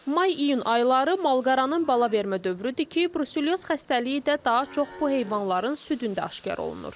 May-iyun ayları malqaranın bala vermə dövrüdür ki, bruselyoz xəstəliyi də daha çox bu heyvanların südündə aşkar olunur.